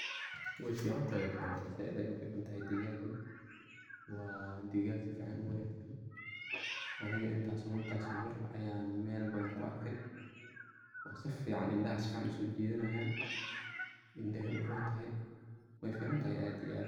Wey ficantahay, wey ficantahay zaid ayey u fican tahay dhigagan waa dhigag si fican u wanagsan aniga intas o mar ayan mel badan ku arkay oo si fican , indhaha si ayey uso jidhanayan , indhahey u rontahay wey fican tahay aad iyo aad.